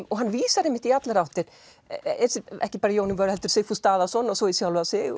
og hann vísar í allar áttir ekki bara í Jón úr vör heldur Sigfús Daðason og svo í sjálfan sig